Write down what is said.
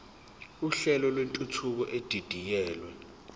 uhlelo lwentuthuko edidiyelwe